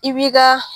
I b'i ka